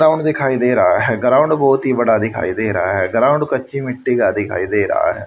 ground दिखाई दे रहा है ग्राउंड बहोत ही बड़ा दिखाई दे रहा है ग्राउंड कच्ची मिट्टी का दिखाई दे रहा--